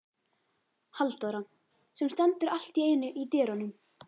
Halldóra sem stendur allt í einu í dyrunum.